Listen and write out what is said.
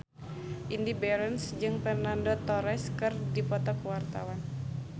Indy Barens jeung Fernando Torres keur dipoto ku wartawan